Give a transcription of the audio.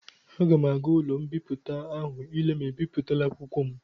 Aga m aga ụlọ mbipụta ahụ ile ma ebipụtala akwụkwọ m.